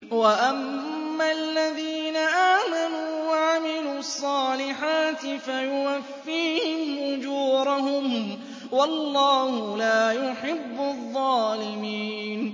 وَأَمَّا الَّذِينَ آمَنُوا وَعَمِلُوا الصَّالِحَاتِ فَيُوَفِّيهِمْ أُجُورَهُمْ ۗ وَاللَّهُ لَا يُحِبُّ الظَّالِمِينَ